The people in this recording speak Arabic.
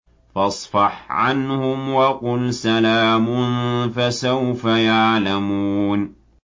فَاصْفَحْ عَنْهُمْ وَقُلْ سَلَامٌ ۚ فَسَوْفَ يَعْلَمُونَ